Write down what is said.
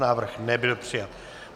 Návrh nebyl přijat.